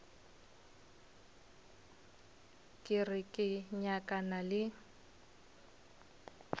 ke re ke nyakana le